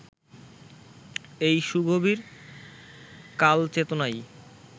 এই সুগভীর কালচেতনাই